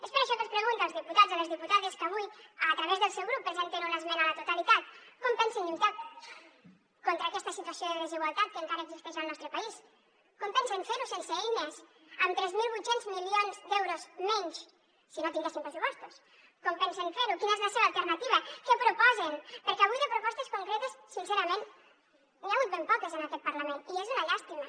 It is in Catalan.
és per això que els pregunto als diputats a les diputades que avui a través del seu grup presenten una esmena a la totalitat com pensen lluitar contra aquesta situació de desigualtat que encara existeix al nostre país com pensen fer ho sense eines amb tres mil vuit cents milions d’euros menys si no tinguéssim pressupostos com pensen fer ho quina és la seva alternativa què proposen perquè avui de propostes concretes sincerament n’hi ha hagut ben poques en aquest parlament i és una llàstima